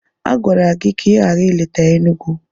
A gwara gị ka ị ghara ileta Enugwu.